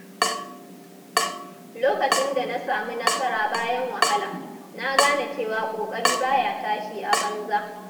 Lokacin da na samu nasara bayan wahala, na gane cewa ƙoƙari ba ya tashi a banza.